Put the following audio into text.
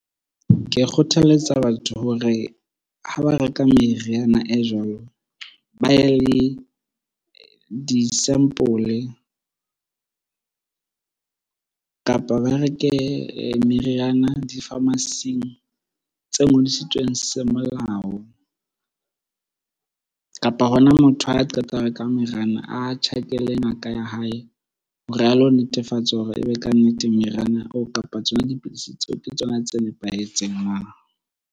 Ke kgothaletsa batho hore ha ba reka meriana e jwalo, ba ye le di-sample, kapa ba reke meriana di-pharmacy-ing tse ngodisitsweng se molao. Kapa hona motho ha a qeta ho reka meriana a tjhakele ngaka ya hae hore a lo netefatsa hore ebe kannete meriana oo, kapa tsona dipidisi tseo ke tsona tse nepahetseng na?